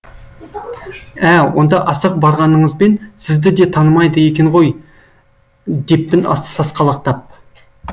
ә онда асығып барғаныңызбен сізді де танымайды екен ғой деппін сасқалақтап